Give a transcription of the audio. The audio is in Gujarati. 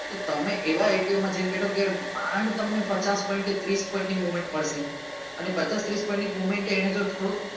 તો તમે એવા માં જઈને મેળવો ત્યારે માંડ તમને પચાસ point કે ત્રીસ point ની movement મળશે અને પચાસ ત્રીસ point ની movement એની અંદર થોડું